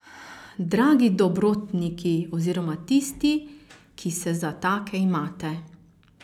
Dragi dobrotniki oziroma tisti, ki se za take imate.